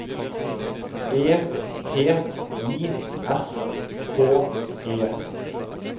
E T I S K E